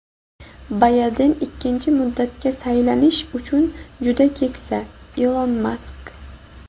Bayden ikkinchi muddatga saylanish uchun juda keksa – Ilon Mask.